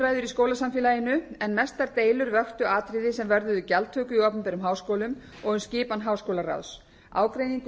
skólasamfélaginu en mestar deilur vöktu atriði sem vörðuðu gjaldtöku í opinberum háskólum og um skipan háskólaráðs ágreiningur